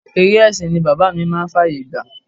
Eré ẹsin ni bàbá mi máa ń fàyè gbà.